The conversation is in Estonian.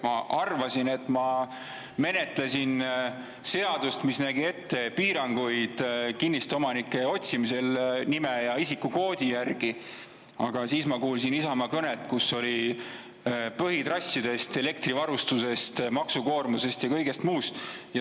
Ma arvasin, et ma menetlesin seadust, mis nägi ette piiranguid kinnistuomanike otsimisel nime ja isikukoodi järgi, aga siis ma kuulsin Isamaa kõnet, kus oli juttu põhitrassidest, elektrivarustusest, maksukoormusest ja kõigest muust.